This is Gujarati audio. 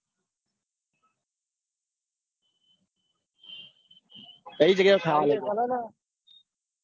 કઈ જગ્યાય ખાવાનું